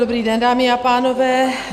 Dobrý den, dámy a pánové.